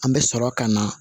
An bɛ sɔrɔ ka na